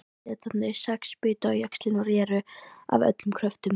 Hásetarnir sex bitu á jaxlinn og réru af öllum kröftum.